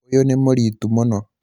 ũyũ nĩ mũritũ mũno